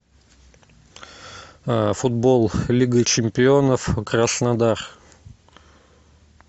футбол лига чемпионов краснодар